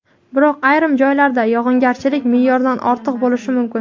biroq ayrim joylarda yog‘ingarchilik me’yordan ortiq bo‘lishi mumkin.